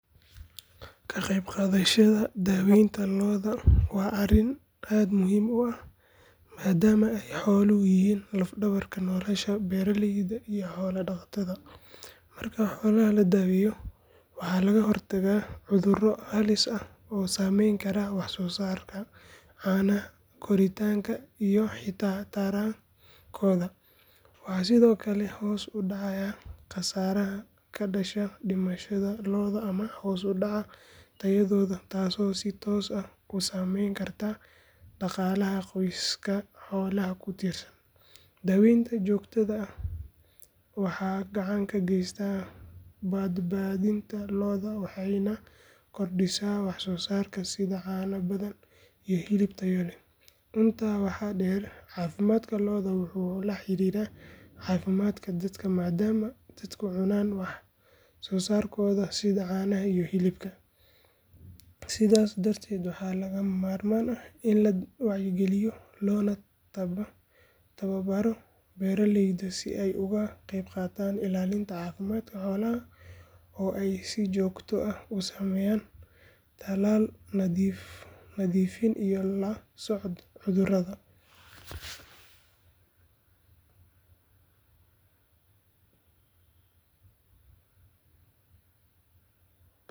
Ka qaybqaadashada daawaynta lo’da waa arrin aad muhiim u ah maadaama ay xooluhu yihiin laf dhabarka nolosha beeraleyda iyo xoolo dhaqatada. Marka xoolaha la daweeyo waxaa laga hortagaa cudurro halis ah oo saamayn kara waxsoosaarka caanaha, koritaanka iyo xitaa tarankooda. Waxaa sidoo kale hoos u dhacaya khasaaraha ka dhasha dhimashada lo’da ama hoos u dhaca tayadooda taasoo si toos ah u saameyn karta dhaqaalaha qoysaska xoolaha ku tiirsan. Daawaynta joogtada ah waxay gacan ka geysataa badbaadinta lo’da waxayna kordhisaa waxsoosaarka sida caano badan iyo hilib tayo leh. Intaa waxaa dheer, caafimaadka lo’da wuxuu la xiriiraa caafimaadka dadka maadaama dadku cunaan wax soosaarkooda sida caanaha iyo hilibka. Sidaas darteed waa lagama maarmaan in la wacyigeliyo loona tababaro beeraleyda si ay uga qaybqaataan ilaalinta caafimaadka xoolahooda oo ay si joogto ah u sameeyaan tallaal, nadiifin iyo la socod cudurrada.